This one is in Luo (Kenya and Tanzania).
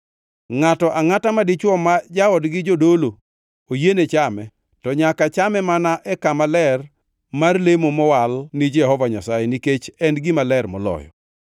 Ngʼato angʼata madichwo ma jaodgi jodolo oyiene chame, to nyaka chame mana e kama ler mar lemo mowal ni Jehova Nyasaye, nikech en gima ler moloyo.